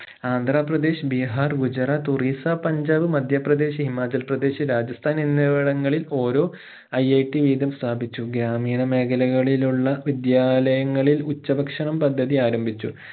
ആന്ധ്രപ്രദേശ് ബീഹാർ ഗുജറാത്ത് ഒറീസ്സ പഞ്ചാബ് മധ്യപ്രദേശ് ഹിമാചൽപ്രദേശ് രാജസ്ഥാൻ എന്നിവിടങ്ങയിൽ ഓരോ IIT വീതം സ്ഥാപിച്ചു ഗ്രാമീണ മേഖലകളിലുള്ള വിദ്യാലയങ്ങളിൽ ഉച്ച ഭക്ഷണം പദ്ധതി ആരംഭിച്ചു